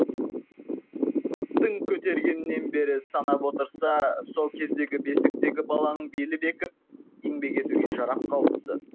тың көтергеннен бері санап отырса сол кездегі бесіктегі баланың белі бекіп еңбек етуге жарап қалыпты